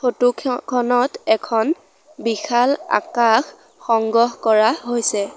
Photo ক্ষ খনত এখন বিশাল আকাশ সংগ্ৰহ কৰা হৈছে।